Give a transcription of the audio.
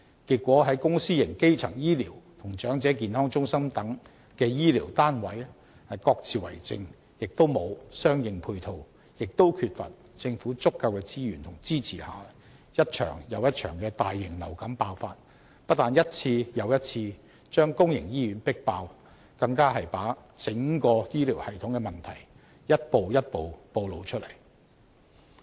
結果，在公私營基層醫療與長者健康中心等的醫療單位各自為政，既沒有相應配套，也缺乏政府足夠的資源和支持下，一場又一場的大型流感爆發，不但一次又一次把公營醫院迫爆，更把整個醫療系統的問題一步一步暴露出來。